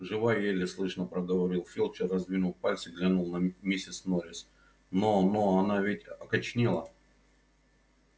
жива еле слышно проговорил филч и раздвинув пальцы глянул на миссис норрис но но она ведь окоченела